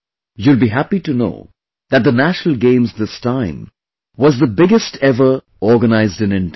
You will be happy to know that the National Games this time was the biggest ever organized in India